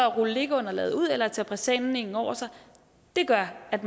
rulle liggeunderlaget ud eller tage presenningen over sig gør at